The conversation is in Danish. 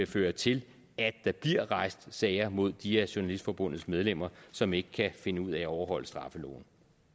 føre til at der bliver rejst sager mod de af journalistforbundets medlemmer som ikke kan finde ud af at overholde straffeloven